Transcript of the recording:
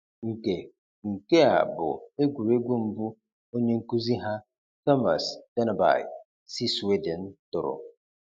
Nke Nke a bụ egwuregwu mbụ onye nkuzi ha, Thomas Dennerby si Sweden, tụrụ.